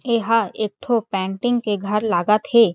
एहा एक ठो पेंटिंग के घर लागत हे।